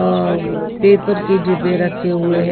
औ पेपर के डिब्बे रखे हुए हैं।